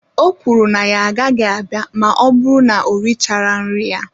O kwuru na ya agaghị abịa ma ọ bụrụ na o richara nri ya